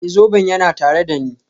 Ee, zoben yana tare da ni.